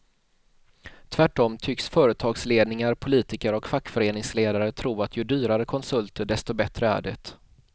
Tvärtom tycks företagsledningar, politiker och fackföreningsledare tro att ju dyrare konsulter desto bättre är det.